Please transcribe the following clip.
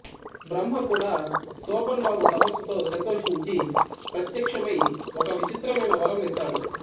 బ్రహ్మ కూడా శోభన్ బాబు తపస్సుతో సంతోషించి ప్రత్యక్షమై ఒక విచిత్రమైన వరం ఇస్తాడు